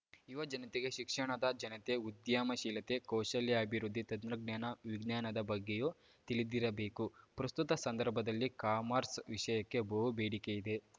ಯುವಜನತೆಗೆ ಶಿಕ್ಷಣದ ಜನತೆ ಉದ್ಯಮಶೀಲತೆ ಕೌಶಲ್ಯಾಭಿವೃದ್ಧಿ ತಂತ್ರಜ್ಞಾನ ವಿಜ್ಞಾನದ ಬಗ್ಗೆಯೂ ತಿಳಿದಿರಬೇಕು ಪ್ರಸ್ತುತ ಸಂದರ್ಭದಲ್ಲಿ ಕಾಮರ್ಸ್‌ ವಿಷಯಕ್ಕೆ ಬಹು ಬೇಡಿಕೆಯಿದೆ